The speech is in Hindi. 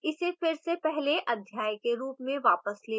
इसे फिर से पहले अध्याय के रूप में वापस ले जाएँ